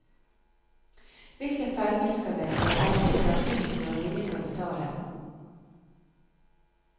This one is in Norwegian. Hvilken ferge du skal velge avhenger av prisen du er villig til å betale.